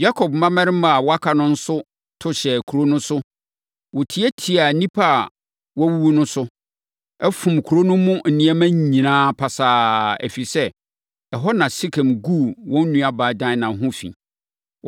Yakob mmammarima a wɔaka no nso to hyɛɛ kuro no so. Wɔtiatiaa nnipa a wɔawuwu no so, fom kuro no mu nneɛma nyinaa pasaa, ɛfiri sɛ, ɛhɔ na Sekem guu wɔn nuabaa Dina ho fi.